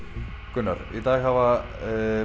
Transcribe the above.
Gunnar í dag hafa